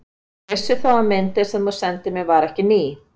Ég vissi þó að myndin, sem þú sendir mér, var ekki ný.